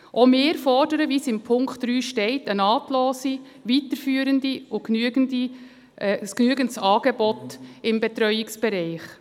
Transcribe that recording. Auch wir fordern, wie es in Punkt 3 steht, ein nahtloses, weiterführendes und genügendes Angebot im Betreuungsbereich.